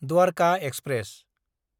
Dwarka express